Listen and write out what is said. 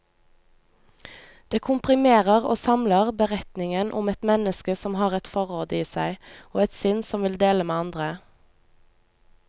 Det komprimerer og samler beretningen om et menneske som har et forråd i seg, og et sinn som vil dele med andre.